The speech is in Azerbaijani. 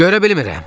Görə bilmirəm.